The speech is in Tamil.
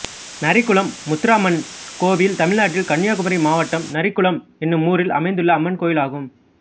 நரிக்குளம் முத்தாரம்மன் கோயில் தமிழ்நாட்டில் கன்னியாகுமரி மாவட்டம் நரிக்குளம் என்னும் ஊரில் அமைந்துள்ள அம்மன் கோயிலாகும்